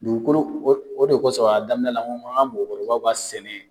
Dugukolo ko sɔn, a daminɛ la, n ko bon ani ka mɔkɔrɔbaw ka sɛnɛ.